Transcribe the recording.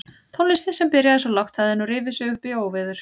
Tónlistin sem byrjaði svo lágt hafði nú rifið sig upp í óveður.